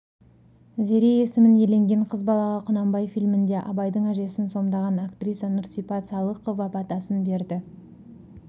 зере есімін иеленген қыз балаға құнанбай фильмінде абайдың әжесін сомдаған актриса нұрсипат салықова батасын берді